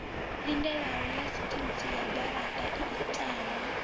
lindelaho ḽaseintsi ya garaṱa itaho